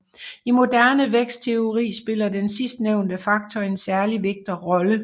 I moderne vækstteori spiller den sidstnævnte faktor en særlig vigtig rolle